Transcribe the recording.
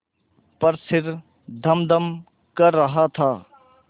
पर सिर धमधम कर रहा था